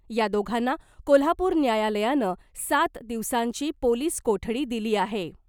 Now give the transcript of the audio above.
या दोघांना कोल्हापूर न्यायालयानं सात दिवसांची पोलिस कोठडी दिली आहे .